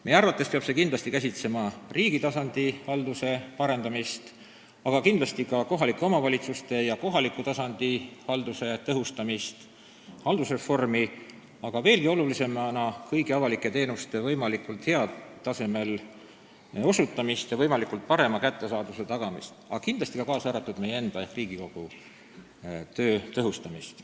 Meie arvates peab käsitlema riigi tasandi halduse parandamist, kindlasti ka kohalike omavalitsuste ja kohaliku tasandi halduse tõhustamist, haldusreformi, aga veelgi olulisemana kõigi avalike teenuste võimalikult heal tasemel osutamist ja nende parema kättesaadavuse tagamist, kindlasti ka meie enda ehk Riigikogu töö tõhustamist.